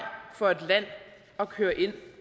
for et land at køre ind